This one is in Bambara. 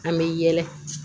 An bɛ yɛlɛ